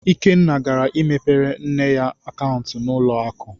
Ikenna gara imepere nne ya akaụntụ na ụlọ akụ.